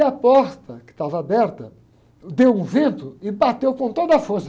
E a porta, que estava aberta, deu um vento e bateu com toda a força.